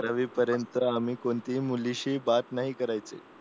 बारावी वी पर्यंत आम्ही कोणत्याही मुलीशी बात नाही करायचं